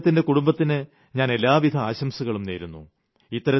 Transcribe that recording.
അദ്ദേഹത്തിന്റെ കുടുംബത്തിന് ഞാൻ എല്ലാവിധ ആശംസകളും നേരുന്നു